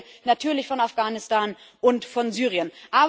Und ich rede hier natürlich von Afghanistan und von Syrien.